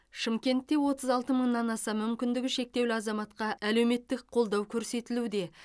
шымкентте отыз алты мыңнан аса мүмкіндігі шектеулі азаматқа әлеуметтік қолдау көрсетілуде